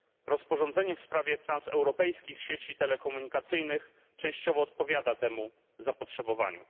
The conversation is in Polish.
Rozporządzenie w sprawie transeuropejskich sieci telekomunikacyjnych częściowo odpowiada temu zapotrzebowaniu.